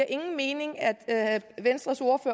ingen mening at at venstre